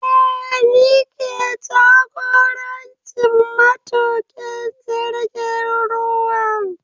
Eh ni ke jagorancin matuƙin jirgin ruwan